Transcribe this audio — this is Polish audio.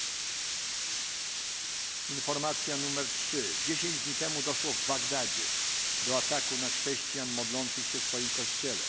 Trzecia informacja W Bagdadzie 10 dni temu doszło do ataku na chrześcijan modlących się w swoim kościele.